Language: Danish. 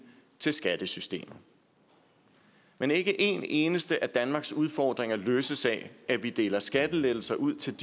til skattesystemet men ikke én eneste af danmarks udfordringer løses af at vi deler skattelettelser ud til